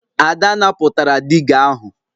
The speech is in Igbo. Ada napụtara diga ahụ